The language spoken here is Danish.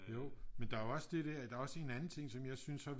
Jo men der er jo også det der der er også en anden ting som jeg synes